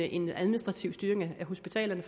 en administrativ styring af hospitalerne